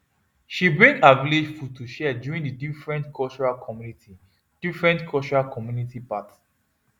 she bring her village food to share during the different cultural community different cultural community part